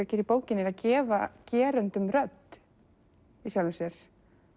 gera í bókinni gefa gerendum rödd í sjálfu sér